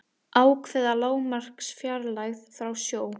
ákveða lágmarksfjarlægð frá sjó